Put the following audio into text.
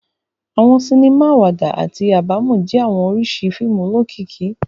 Awọn sinima awada ati abamọ jẹ awọn oriṣi fiimu olokiki